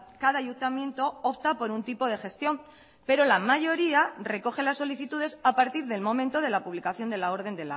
cada ayuntamiento opta por un tipo de gestión pero la mayoría recoge las solicitudes a partir del momento de la publicación de la orden